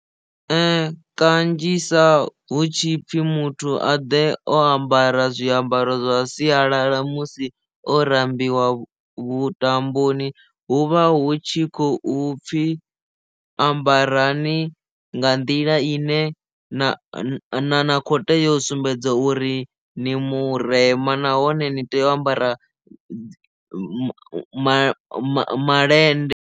Kanzhisa hu tshipfi muthu a ḓe o ambara zwiambaro zwa sialala musi o rambiwa vhuṱamboni huvha hu tshi khou pfhi ambarani nga nḓila ine na kho teya u sumbedza uri ni murema nahone ni tea u ambara ma ma ma malende.